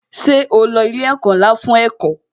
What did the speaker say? Ṣé o lo ilé ẹ̀kọ́ ńlá fún ẹ̀kọ́?